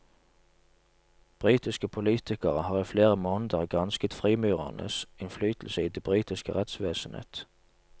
Britiske politikere har i flere måneder gransket frimurernes innflytelse i det britiske rettsvesenet.